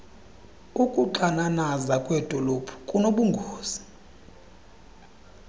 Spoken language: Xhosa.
ukuxananaza kwedolophu kunobungozi